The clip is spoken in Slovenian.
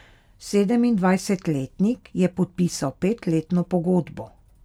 Sedemindvajsetletnik je podpisal petletno pogodbo.